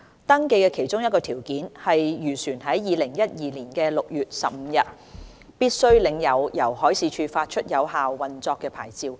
登記的其中一個條件，是漁船在2012年6月15日必須領有由海事處發出有效的運作牌照。